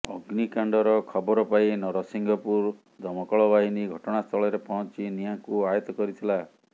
ଅଗ୍ନିକାଣ୍ଡର ଖବର ପାଇ ନରସିଂହପୁର ଦମକଳବାହିନୀ ଘଟଣାସ୍ଥଳରେ ପହଞ୍ଚି ନିଆଁକୁ ଆୟତ୍ତ କରିଥିଲା